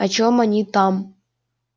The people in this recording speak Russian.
о чем они там